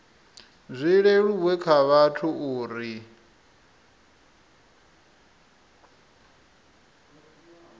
zwi leluwe kha vhathu uri